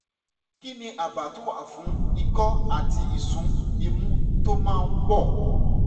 kí ni àbá tó wà fún ikọ́ àti ìsun imú tó máa ń pọ̀?